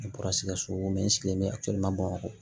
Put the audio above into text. N bɔra sikaso